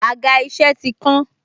Àga isẹ ti kán.